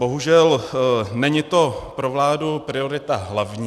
Bohužel není to pro vládu priorita hlavní.